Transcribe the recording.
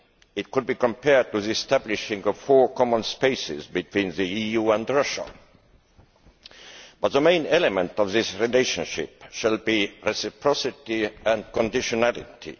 It could be compared to establishing four common spaces between the EU and Russia, but the main element of this relationship will be reciprocity and conditionality.